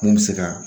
Mun bɛ se ka